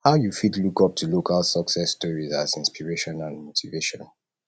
how you fit look up to local success stories as inspiration and motivation